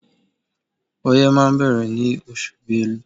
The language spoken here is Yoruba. Ọyẹ́ máa bẹ̀rẹ̀ nínú oṣù Bélú.